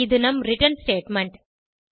இது நம் return statement